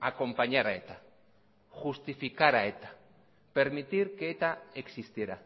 acompañar a eta justificar a eta permitir que eta existiera